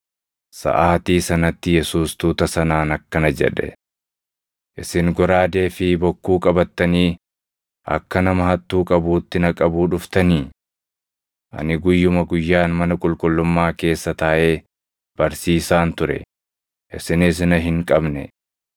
Saʼaatii sanatti Yesuus tuuta sanaan akkana jedhe; “Isin goraadee fi bokkuu qabattanii akka nama hattuu qabuutti na qabuu dhuftanii? Ani guyyuma guyyaan mana qulqullummaa keessa taaʼee barsiisaan ture; isinis na hin qabne.